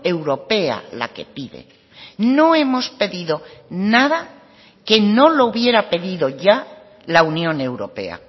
europea la que pide no hemos pedido nada que no lo hubiera pedido ya la unión europea